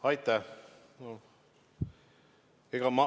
Aitäh!